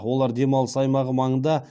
олар демалыс аймағы маңында